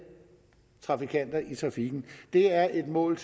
trafikanter i trafikken det er et mål